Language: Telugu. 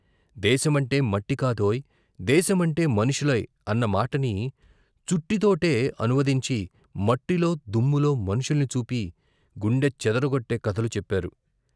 ' దేశమంటే మట్టికాదోయ్ దేశమంటే మనుషులోయ్ ' అన్నమాటని చుట్టితోటే అనువదించి మట్టిలో దుమ్ములో మనుషుల్ని చూపి గుండె చెదరగొట్టే కథలు చెప్పారు.